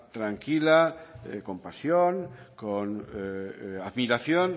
tranquila con pasión con admiración